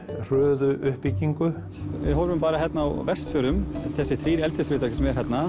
hröðu upbyggingu við horfum bara hérna á Vestfjörðum þessir þrjú eldisfyrirtæki